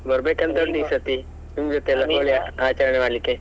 ಬರ್ಬೇಕಂತ ಉಂಟು ಈಸರ್ತಿ ನಿಮ್ಮ್ ಜೊತೆ ಎಲ್ಲ ಹೋಳಿ ಆಚರಣೆ ಮಾಡ್ಲಿಕ್ಕೆ.